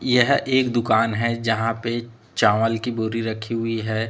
यह एक दुकान है यहां पे चावल की बोरी रखी हुई है।